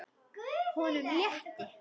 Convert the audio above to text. Honum létti.